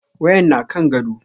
Wayan na kan gado.